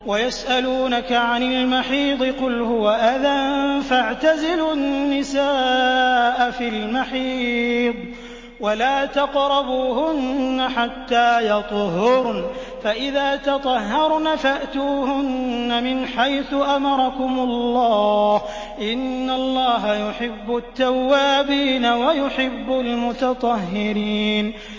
وَيَسْأَلُونَكَ عَنِ الْمَحِيضِ ۖ قُلْ هُوَ أَذًى فَاعْتَزِلُوا النِّسَاءَ فِي الْمَحِيضِ ۖ وَلَا تَقْرَبُوهُنَّ حَتَّىٰ يَطْهُرْنَ ۖ فَإِذَا تَطَهَّرْنَ فَأْتُوهُنَّ مِنْ حَيْثُ أَمَرَكُمُ اللَّهُ ۚ إِنَّ اللَّهَ يُحِبُّ التَّوَّابِينَ وَيُحِبُّ الْمُتَطَهِّرِينَ